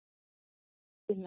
Sjáðu nú til, lagsi.